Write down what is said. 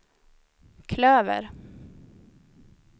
klöver